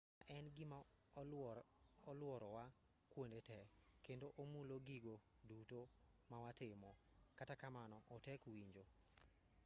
saa en gima oluorowa kuonde te kendo omulo gigo duto mawatimo kata kamano otek winjo